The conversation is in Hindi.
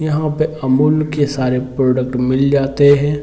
यहाँ पे अमूल के सारे प्रोडक्ट मिल जाते है।